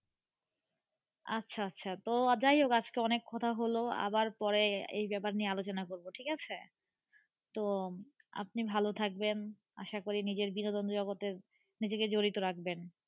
আচ্ছা আচ্ছা তো যাই হোক আজকে অনেক কথা হোল আবার পরে এই ব্যাপার নিয়ে আলোচনা করব ঠিক আছে, তো আপনি ভালো থাকবেন আশা করি নিজের বিনোদন জগতে নিজেকে জড়িত রাখবেন.